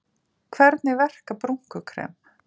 Hvernig verka brúnkukrem?